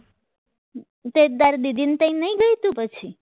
તો એ તારી નહીં ગઈ તું પછી